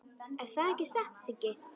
Er það ekki satt, Siggi?